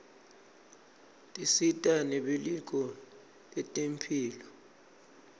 tisita nebelitko lentemphilo